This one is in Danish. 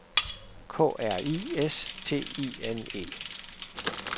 K R I S T I N E